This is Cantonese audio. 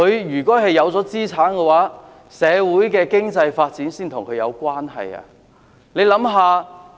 如果他們擁有資產，社會的經濟發展才會跟他們有關係。